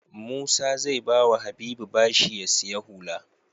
Musa ze bawa habibu bashi ya siya hula